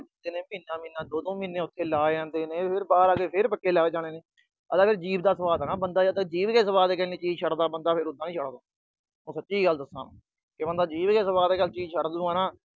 ਮਹੀਨਾ-ਮਹੀਨਾ, ਦੋ-ਦੋ ਮਹੀਨੇ ਉਥੇ ਲਾ ਆਉਂਦੇ ਨੇ, ਘਰ ਆ ਕੇ ਫਿਰ ਪੱਕੇ ਲੱਗ ਜਾਂਦੇ ਨੇ। ਆ ਜੀਭ ਦਾ ਸੁਆਦ ਆ, ਬੰਦਾ ਜੀਭ ਦਾ ਸੁਆਦ ਨੀ ਛੱਡਦਾ ਜਦ ਬੰਦਾ ਤਾਂ ਉਦਾ ਨੀ ਛੱਡਦਾ। ਮੈਂ ਸੱਚੀ ਗੱਲ ਦੱਸਾ। ਬੰਦਾ ਜੀਭ ਦੇ ਸੁਆਦ ਨਾਲ ਚੀਜ ਛੱਡ ਦੂਗਾ ਨਾ